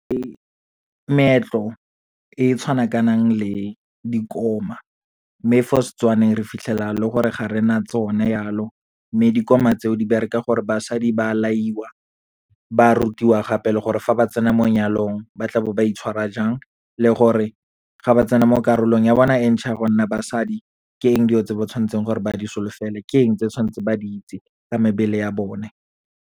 Ee, meetlo e tshwanakanang le dikoma, mme fo Setswaneng re fitlhela e le gore ga rena tsone yalo, mme dikoma tseo di bereka gore basadi ba laiwa. Ba rutiwa gape le gore, fa ba tsena mo nyalong ba tla bo ba itshwara jang, le gore ga ba tsena mo karolong ya bona e ntšha ya go nna basadi, ke eng dilo tse ba tshwanetseng gore ba di solofele, keng tse tshwantse ba di itse ka mebele ya bone.